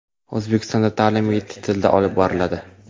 O‘zbekistonda ta’lim yetti tilda olib boriladi.